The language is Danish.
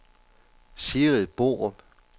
Sigrid Borup